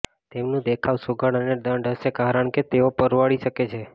તેમનું દેખાવ સુઘડ અને દંડ હશે કારણ કે તેઓ પરવડી શકે છે